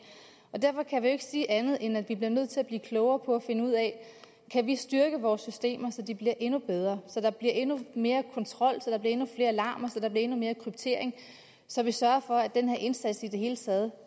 og derfor kan vi jo ikke sige andet end at vi bliver nødt til at blive klogere på og finde ud af kan vi styrke vores systemer så de bliver endnu bedre så der bliver endnu mere kontrol så der bliver endnu flere alarmer så der bliver endnu mere kryptering så vi sørger for at den her indsats i det hele taget